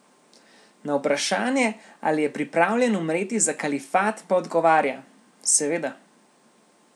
Na vprašanje, ali je pripravljen umreti za kalifat pa odgovarja: "Seveda.